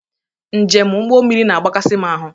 Njem ụgbọ mmiri na agbakasị m ahu